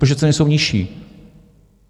Protože ceny jsou nižší.